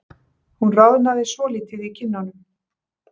Hún roðnaði svolítið í kinnunum.